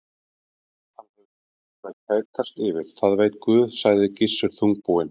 Hann hefur lítið til að kætast yfir, það veit Guð, sagði Gissur þungbúinn.